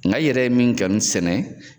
Nka i yɛrɛ ye min sɛnɛ.